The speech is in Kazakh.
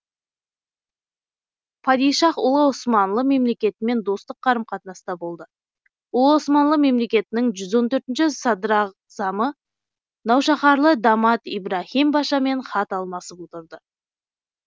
падишаһ ұлы османлы мемлекетімен достық қарым қатынаста болды ұлы османлы мемлекетінің жүз он төртінші ші садрағзамы наушаһарлы дамат ибраһим пашамен хат алмасып отырды